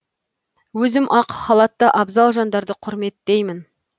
өзім ақ халатты абзал жандарды құрметтеймін